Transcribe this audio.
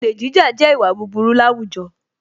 Olè jíjà jẹ́ ìwà búburú láwùjọ